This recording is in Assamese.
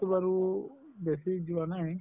বাৰু বেছি যোৱা নাই